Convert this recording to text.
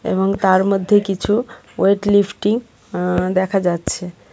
এবং তার মধ্যে কিছু ওয়েট লিফটিং আ্য দেখা যাচ্ছে.